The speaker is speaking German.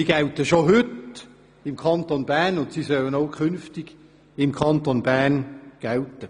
Diese gelten im Kanton Bern bereits heute und sollen auch künftig gelten.